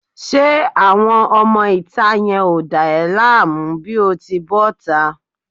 Ṣé àwọn ọmọ ìta yẹn ò dá ẹ láàmú bí o ti bọ́ta?